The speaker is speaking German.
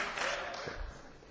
Herr Kollege Schulz!